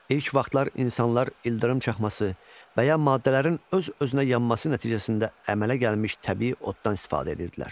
İlk vaxtlar insanlar ildırım çaxması və ya maddələrin öz-özünə yanması nəticəsində əmələ gəlmiş təbii oddan istifadə edirdilər.